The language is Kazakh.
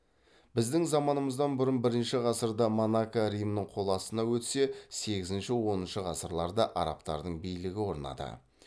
біздің заманымыздан бұрын бірінші ғасырда монако римнің қол астына өтсе сегізінші оныншы ғасырларда арабтардың билігі орнады